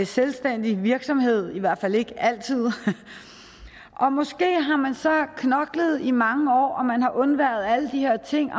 selvstændig virksomhed i hvert fald ikke altid og måske har man så knoklet i mange år og man har undværet alle de her ting